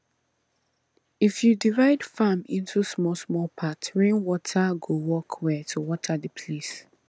if you divide farm into smallsmall part rainwater go work well to water the place